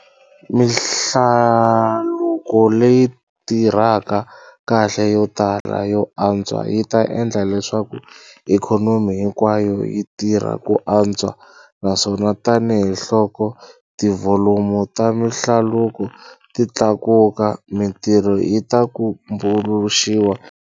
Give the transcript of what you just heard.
Mihlaluko leyi tirhaka kahle yo tala yo antswa yi ta endla leswaku ikhonomi hinkwayo yi tirha ku antswa - naswona tanihiloko tivholomu ta mihlaluko ti tlakuka, mitirho yi ta tumbuluxiwa.